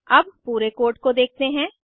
अब पूरे कोड को देखते हैं